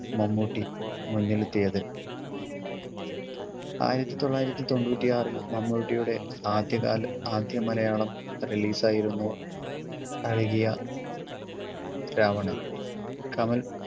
മമ്മൂട്ടി മുന്നിലെത്തിയത് ആയിരത്തിത്തൊള്ളായിരത്തി തൊണ്ണൂറ്റിയാറിൽ മമ്മൂട്ടിയുടെ ആദ്യകാല ആദ്യ മലയാളം release ആയിരുന്നു അഴകിയ രാവണൻ കമൽ